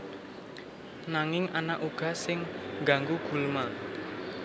Nanging ana uga sing ngganggu gulma